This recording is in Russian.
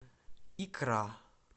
икра